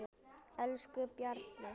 Elsku Bjarni Jón.